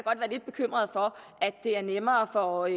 lidt bekymret for at det er nemmere for